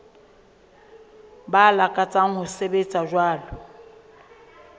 ba lakatsang ho sebetsa jwalo